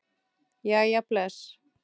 Jæja bless